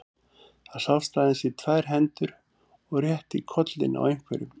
Það sást aðeins í tvær hendur og rétt í kollinn á einhverjum.